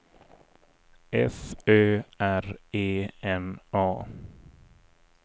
F Ö R E N A